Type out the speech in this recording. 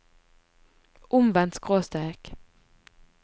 omvendt skråstrek